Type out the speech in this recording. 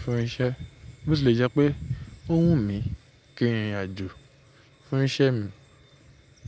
fún iṣẹ́, bó ti lè jẹ́ pé ọ́ wùmí kí n rìnrìn àjò fún iṣẹ́ mi.